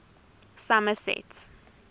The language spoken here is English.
somerset